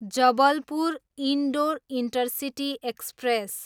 Jabalpur, Indore intercity express